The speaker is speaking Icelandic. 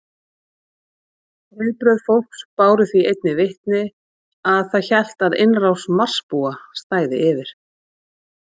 Viðbrögð fólks báru því einnig vitni að það hélt að innrás Marsbúa stæði yfir.